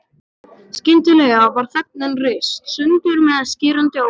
Skyndilega var þögnin rist sundur með skerandi ópi.